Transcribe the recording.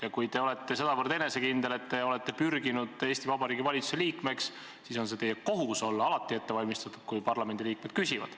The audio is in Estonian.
Ja kui te olete sedavõrd enesekindel, et olete pürginud Eesti Vabariigi valitsuse liikmeks, siis on teie kohus olla alati ette valmistatud, kui parlamendiliikmed küsivad.